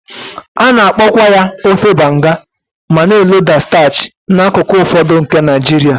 A na-akpọkwa ya ofe Banga ma na-eloda starch n'akụkụ ụfọdụ nke Naijiria.